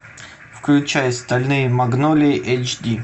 включай стальные магнолии эйч ди